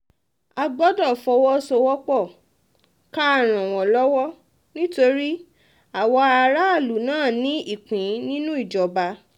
a gbọ́dọ̀ fọwọ́sowọ́pọ̀ ká ràn wọ́n lọ́wọ́ nítorí àwa aráàlú náà ní ìpín nínú ìjọba